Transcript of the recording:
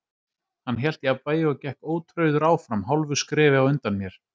Hann hélt jafnvægi og gekk ótrauður áfram hálfu skrefi á undan mér.